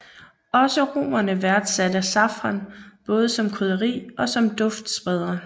Også romerne værdsatte safran både som krydderi og som duftspreder